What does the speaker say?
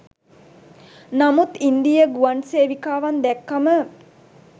නමුත් ඉන්දීය ගුවන් සේවිකාවන් දැක්කම